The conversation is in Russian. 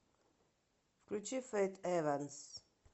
включи фэйт эванс